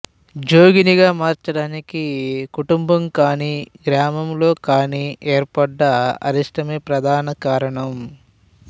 జోగినిగా మార్చడానికి కుటుంబంకానీ గ్రామంలోకానీ ఏర్పడ్డ అరిష్టమే ప్రధాన కారణం